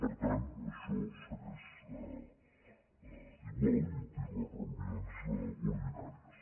per tant això segueix igual i té les reunions ordinàries